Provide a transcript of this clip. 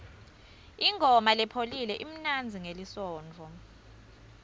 ingoma lepholile imnanzi ngelisontfo